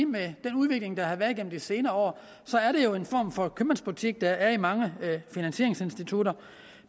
med den udvikling der har været gennem de senere år er en form for købmandsbutik der er i mange finansieringsinstitutter